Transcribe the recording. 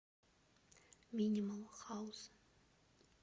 минимал хаус